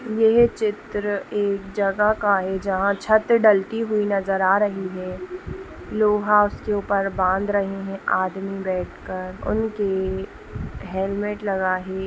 यह चित्र एक जगह का है जहां छत ढलती हुई नज़र आ रही है| लोहा उसके ऊपर बांध रहे हैं आदमी बैठ कर उनके हेलमेट लगा हे ।